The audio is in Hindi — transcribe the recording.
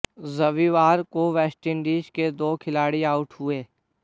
रविवार को वेस्टइंडीज के दो खिलाड़ी आउट हुए